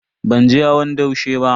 Ban je hawan daushe ba.